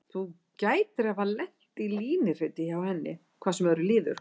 Þú gætir hafa lent í línuriti hjá henni, hvað sem öðru líður.